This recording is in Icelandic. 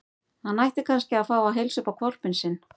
Hann ætti kannski að fá að heilsa upp á hvolpinn sinn.